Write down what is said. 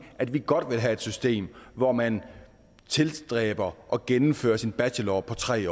at vi godt vil have et system hvor man tilstræber at gennemføre sin bachelor på tre